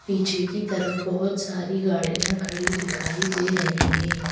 पीछे की तरफ बहुत सारी गाड़ियां खड़ी दिखाई दे रही हैं।